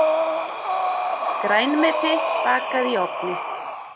Grænmeti bakað í ofni